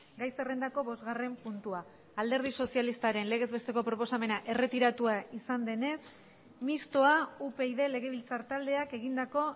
gai zerrendako bosgarren puntua alderdi sozialistaren legez besteko proposamena erretiratua izan denez mistoa upyd legebiltzar taldeak egindako